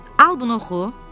Al bunu oxu.